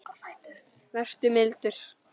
Vertu mildur.